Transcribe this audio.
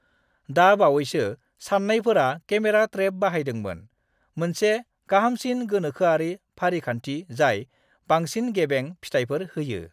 दा बावैसो सान्नायफोरा केमेरा ट्रेप बाहायदोंमोन, मोनसे गाहामसिन गोनोखोआरि फारिखान्थि जाय बांसिन गेबें फिथायफोर होयो।